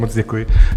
Moc děkuji.